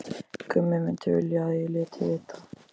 Gummi myndi vilja að ég léti vita.